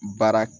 Baara